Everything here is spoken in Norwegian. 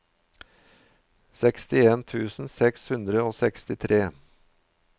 sekstien tusen seks hundre og sekstitre